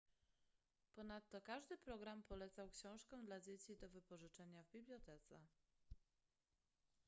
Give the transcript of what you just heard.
ponadto każdy program polecał książki dla dzieci do wypożyczenia w bibliotece